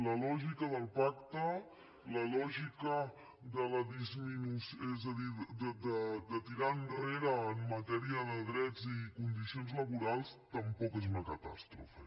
la lògica del pacte la lògica de la disminució de tirar enrere en matèria de drets i condicions laborals tampoc és una catàstrofe